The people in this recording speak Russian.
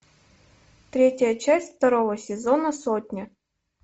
третья часть второго сезона сотня